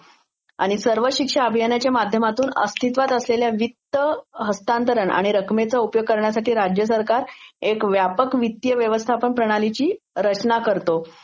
आणि सर्व शिक्षा अभियानाच्या माध्यामातून अस्थित्वात असलेले वित्त हस्तातरण आणि रकमेचा उपयोग करण्यासाटी राज्या सरकर एक व्यापक वित्तीय व्यवस्थापन प्रणालीची रचना करतो.